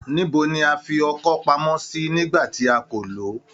Ní ibo ni a fi ọkọ́ pamọ́ sí nígbà tí a kò lọ̀ o?